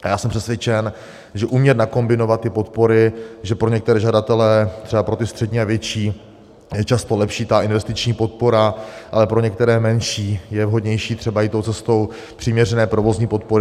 A já jsem přesvědčen, že umět nakombinovat ty podpory, že pro některé žadatele, třeba pro ty střední a větší, je často lepší ta investiční podpora, ale pro některé menší je vhodnější třeba jít tou cestou přiměřené provozní podpory.